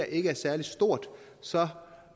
ikke er særlig stort så